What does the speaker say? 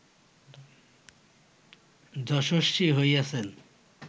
যশস্বী হইয়াছেন